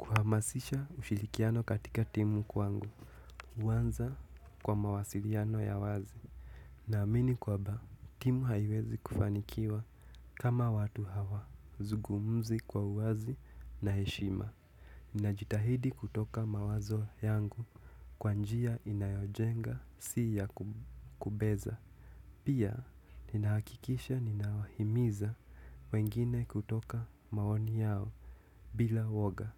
Mahamasisha ushirikiano katika timu kwangu. Huanza kwa mawasiliano ya wazi. Na amini kwamba, timu haiwezi kufanikiwa kama watu hawa. Zungumzi kwa uwazi na heshima. Ninajitahidi kutoa mawazo yangu kwa njia inayojenga si ya kubeza. Pia, ninahakikisha ninawahimiza wengine kutoka maoni yao bila uoga.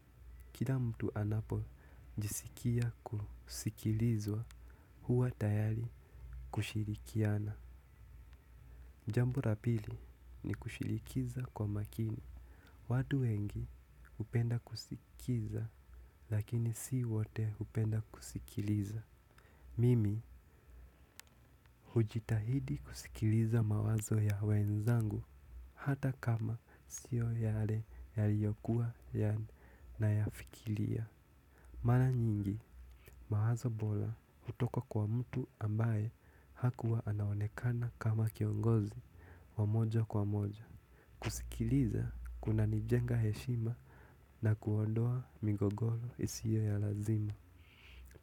Kila mtu anapo jisikia kusikilizwa huwa tayari kushirikiana. Jambo la pili ni kushirikisha kwa makini. Watu wengi hupenda kusikiza lakini si wote hupenda kusikiliza mimi hujitahidi kusikiliza mawazo ya wenzangu hata kama sio yale yaliokuwa ninayafikiria. Mara nyingi mawazo bora hutoka kwa mtu ambaye hakuwa anaonekana kama kiongozi wa moja kwa moja. Kusikiliza kuna nijenga heshima na kuondoa migogoro isiyo ya lazima.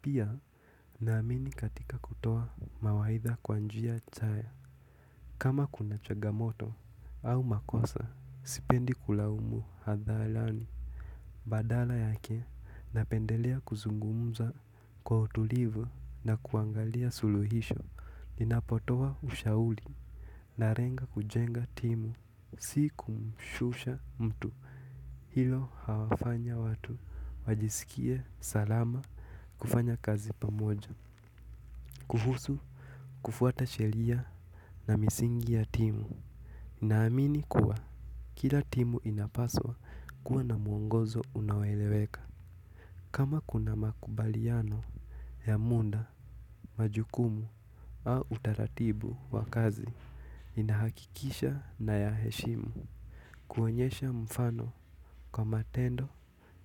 Pia naamini katika kutoa mawaidha kwa njia chanya. Kama kuna changamoto au makosa, sipendi kulaumu hadharani. Badala yake, napendelea kuzungumza kwa utulivu na kuangalia suluhisho. Ninapotoa ushauri na lenga kujenga timu. Si kumshusha mtu, hilo huwafanya watu, wajisikie salama, kufanya kazi pamoja, kuhusu, kufuata sheria na misingi ya timu. Naamini kuwa, kila timu inapaswa kuwa na mwongozo unaeleweka. Kama kuna makubaliano ya muda, majukumu au utaratibu wa kazi, ninahakikisha nayaheshimu. Kuonyesha mfano kwa matendo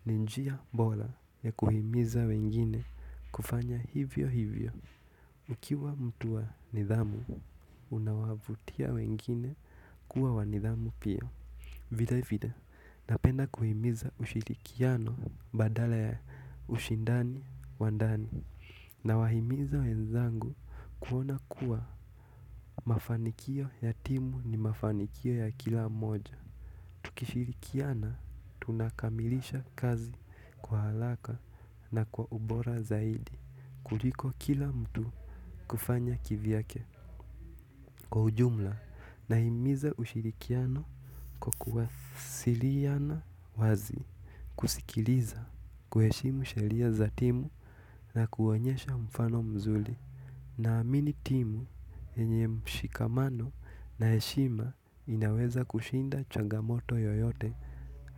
ni njia bora ya kuhimiza wengine kufanya hivyo hivyo. Ukiwa mtu wa nidhamu, unawavutia wengine kuwa wa nidhamu pia. Vile vile napenda kuhimiza ushirikiano badala ya ushindani wa ndani na wa himiza wenzangu kuona kuwa mafanikio ya timu ni mafanikio ya kila moja. Tukishirikiana tunakamilisha kazi kwa haraka na kwa ubora zaidi kuliko kila mtu kufanya kivyake. Kwa ujumla na himiza ushirikiano kwa kuwasiliana wazi kusikiliza kuheshimu sheria za timu na kuonyesha mfano mzuri na amini timu yenye mshikamano na heshima inaweza kushinda changamoto yoyote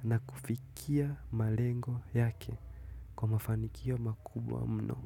na kufikia malengo yake kwa mafanikio makubwa mno.